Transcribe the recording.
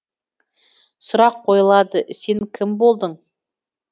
сұрақ қойылады сен кім болдың